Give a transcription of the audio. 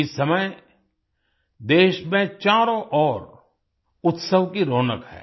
इस समय देश में चारों ओर उत्सव की रौनक है